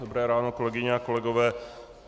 Dobré ráno, kolegyně a kolegové.